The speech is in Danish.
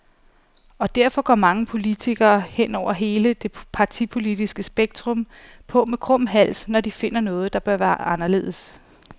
Og derfor går mange politikere, hen over hele det partipolitiske spektrum, på med krum hals, når de finder noget, der bør være anderledes.